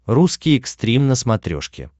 русский экстрим на смотрешке